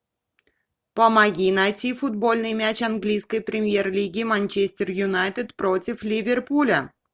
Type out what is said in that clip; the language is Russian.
помоги найти футбольный матч английской премьер лиги манчестер юнайтед против ливерпуля